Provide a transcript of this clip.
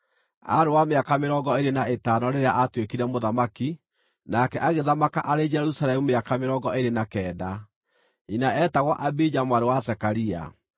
Aarĩ wa mĩaka mĩrongo ĩĩrĩ na ĩtano rĩrĩa aatuĩkire mũthamaki, nake agĩthamaka arĩ Jerusalemu mĩaka mĩrongo ĩĩrĩ na kenda. Nyina eetagwo Abija mwarĩ wa Zekaria.